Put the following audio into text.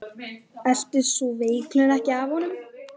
Eltist sú veiklun ekki af honum.